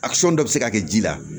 dɔ bɛ se ka kɛ ji la